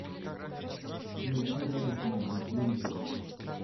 найти радость моя на телевизоре